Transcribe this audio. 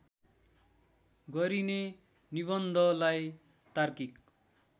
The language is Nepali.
गरिने निबन्धलाई तार्किक